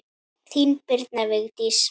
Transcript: Þín, Birna Vigdís.